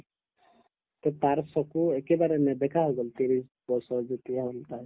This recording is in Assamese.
তে তাইৰ চকু একেবাৰে নেদেখা হৈ গল ত্ৰিশ বছৰ যেতিয়া হল তাইৰ